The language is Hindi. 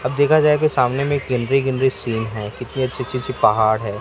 अब देखा जाए की सामने में ग्रीनरी ग्रीनरी सीन है कितनी अच्छी अच्छी अच्छी पहाड़ है।